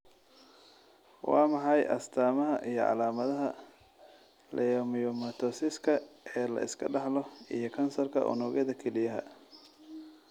Waa maxay astamaha iyo calaamadaha leiomyomatosiska ee la iska dhaxlo iyo kansarka unugyada kelyaha?